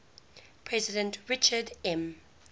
president richard m